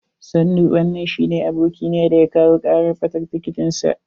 Sannu, wanan shine abokina da ya kawo karar ɓatar tiketin sa.